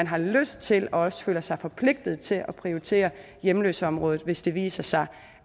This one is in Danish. har lyst til og også føler sig forpligtet til at prioritere hjemløseområdet hvis det viser sig